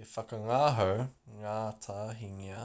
e whakangahau ngātahingia